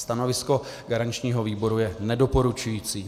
Stanovisko garančního výboru je nedoporučující.